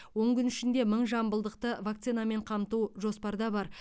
он күн ішінде мың жамбылдықты вакцинамен қамту жоспарда бар